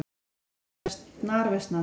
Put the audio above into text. Veður fer snarversnandi